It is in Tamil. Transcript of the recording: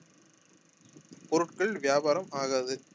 பொருட்கள் வியாபாரம் ஆகாது